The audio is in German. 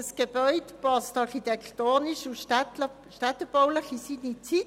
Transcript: Das Gebäude passt architektonisch und städtebaulich in die damalige Zeit.